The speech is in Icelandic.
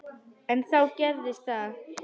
En þá gerðist það.